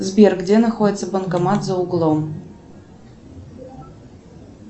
сбер где находится банкомат за углом